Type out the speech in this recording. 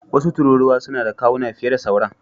Wasu tururuwa suna da kawuna fiye da sauran.